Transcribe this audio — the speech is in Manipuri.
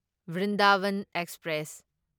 ꯕ꯭ꯔꯤꯟꯗꯥꯚꯟ ꯑꯦꯛꯁꯄ꯭ꯔꯦꯁ